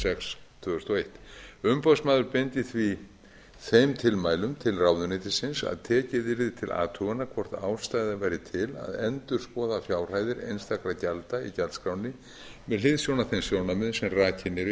sex tvö þúsund og eitt umboðsmaður beindi því þeim tilmælum til ráðuneytisins að tekið yrði til athugunar hvort ástæða væri til að endurskoða fjárhæðir einstakra gjalda í gjaldskránni með hliðsjón af þeim sjónarmiðum sem rakin eru í